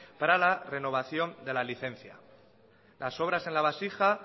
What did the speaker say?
para la renovación de la licencia las obras en la vasija